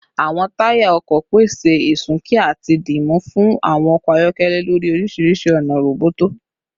Awọn taya ọkọ pese isunki ati dimu fun awọn ọkọ ayọkẹlẹ lori orisirisi ona roboto